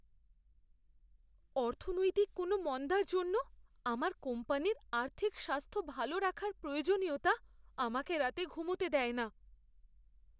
অর্থনৈতিক কোনও মন্দার জন্য আমার কোম্পানির আর্থিক স্বাস্থ্য ভালো রাখার প্রয়োজনীয়তা আমাকে রাতে ঘুমোতে দেয় না।